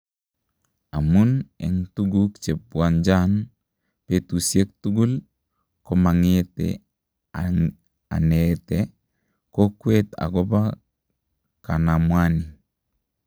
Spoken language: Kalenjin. amun en tuguk chebwanjan petusiek tuguul , komangete anete kokwet agoba kanamwani